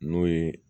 N'o ye